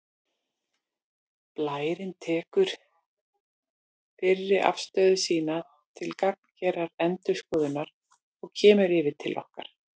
Blærinn tekur fyrri afstöðu sína til gagngerrar endurskoðunar og kemur yfir til okkar